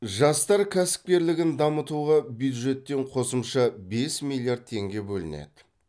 жастар кәсіпкерлігін дамытуға бюджеттен қосымша бес миллиард теңге бөлінеді